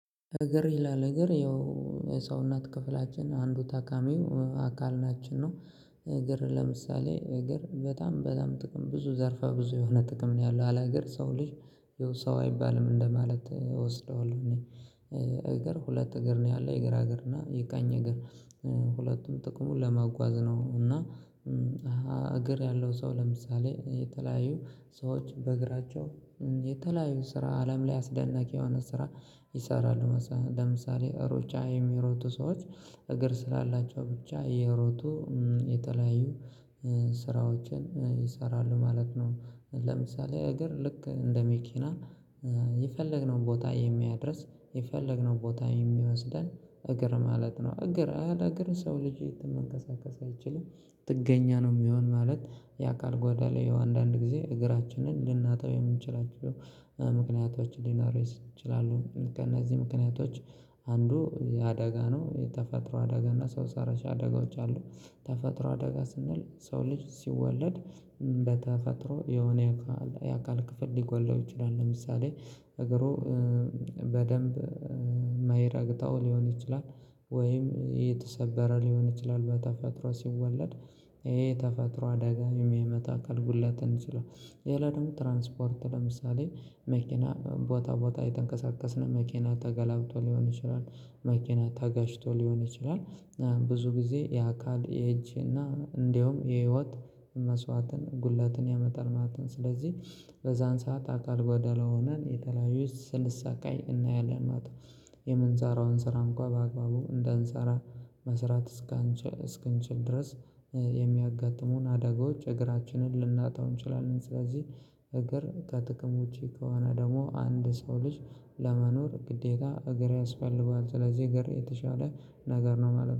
እግር ይላል እግር ያው ሰውነት ክፍላችን አንዱ ታካሚው አካል ናችን ነው። እግር ለምሳሌ እግር በጣም በጣም ጥቅም ብዙ ዘርፋ ብዙ የሆነ ጥቅም ነው ያለው አለ እግር ሰው ልጅ የሆነ ሰው አይባልም እንደማለት እወስደዋለሁ። እኔ እግር ሁለት እግር ነው ያለው የግራ እግር እና የቀኝ እግር። ሁለቱም ጥቅሙን ለማጓዝ ነው እና። እግር ያለው ሰው ለምሳሌ የተለያዩ ሰዎች በእግራቸው የተለያዩ ስራ አለም ላይ አስደናቂ የሆነ ስራ ይሰራሉ። ለምሳሌ ሩጫ የሚሮጡ ሰዎች እግር ስላላቸው ብቻ እየሮጡ የተለያዩ ስራዎችን ይሰራሉ ማለት ነው። ለምሳሌ እግር ልክ እንደ መኪና የፈለግነው ቦታ የሚያደርስ የፈለግነው ቦታ የሚወስደን እግር ማለት ነው። እግር አለ እግር ሰው ልጅ የተመንቀሳቀስ አይችልም ጥገኛ ነው። የሚሆን ማለት የአካል ጓዶሎ ላይ አንዳንድ ጊዜ እግራችንን ለእናታው የምንችላቸው ምክንያቶች ሊኖሩ ይችላሉ። ከእነዚህ ምክንያቶች አንዱ የአደጋ ነው የተፈጥሮ አደጋ እና ሰው ሰረሻ አደጋዎች አሉ። ተፈጥሮ አደጋ ስንል ሰው ልጅ ሲወለድ በተፈጥሮ የሆነ የአካል ክፍል ሊጎለው ይችላል። ለምሳሌ እግሩ በደንብ ማይረግጠው ሊሆን ይችላል። ወይም የተሰበረ ሊሆን ይችላል በተፈጥሮ ሲወለድ ይሄ ተፈጥሮ አደጋ የሚመጣ አካልጉድለት ሊሆን ይችላልን። ይሄ ደግሞ ትራንስፖርት ለምሳሌ መኪና ቦታ ቦታ የተንቀሳቀስን መኪና ተገላብጦ ሊሆን ይችላል። መኪና ታጋጭቶ ሊሆን ይችላል። ብዙ ጊዜ የአካል የእጅ እና እንደውም የህይወት መስዋዕትን ጉላትን ያመጣል ማለት ነው። ስለዚህ በዛን ሰዓት አካል ጓደሎ ሆነን የተለያዩ ስንሳካይ እናያለን ማለት ነው። የምንሳራውን ስራ እንኳን በአግባቡ እንዳንሰራ መስራት እስክንችል ድረስ የሚያጋጥሙን አደጋዎች እግራችንን ልናጣው እንችላለን። ስለዚህ እግር ከጥቅም ውጪ ከሆነ ደግሞ አንድ ሰው ልጅ ለመኖር ግዴታ እግር ያስፈልገዋል። ስለዚህ ነገር የተሻለ ነገር ነው ማለት ነው